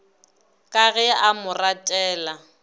ka ge a mo ratela